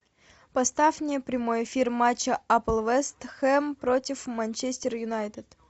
поставь мне прямой эфир матча апл вест хэм против манчестер юнайтед